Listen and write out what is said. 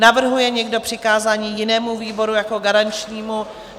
Navrhuje někdo přikázání jinému výboru jako garančnímu?